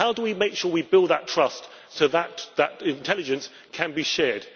How do we make sure we build that trust so that intelligence can be shared?